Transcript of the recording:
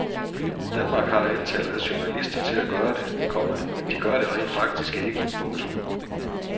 Danmark har antallet af journalister til at gøre det, komma men de gør det rent faktisk ikke. punktum